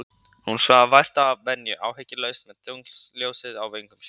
Hún svaf vært að venju, áhyggjulaus, með tunglsljósið á vöngum sér.